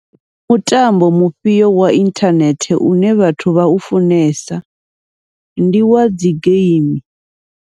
Ndi mutambo mufhio wa inthanethe une vhathu vhau funesa ndi wa dzi geimi.